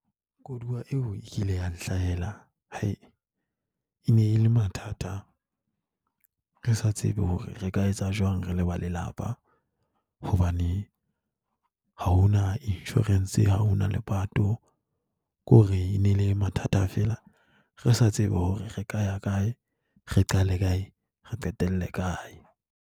Koduwa eo e kile ya nhlahela e ne e le mathata. Re sa tsebe hore re ka etsa jwang re le ba lelapa hobane ha hona insurance. Ha hona le lepato. Ke hore e ne e le mathata feela, re sa tsebe hore re ka ya kae, re qale kae, re qetelle kae.